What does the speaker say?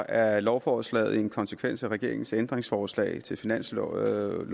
er lovforslaget en konsekvens af regeringens ændringsforslag til finanslovforslaget